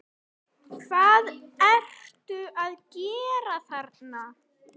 HVAÐ ERTU AÐ GERA ÞARNA!